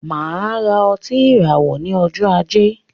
Máa ra otí ìràwọ ní ọjọ ajé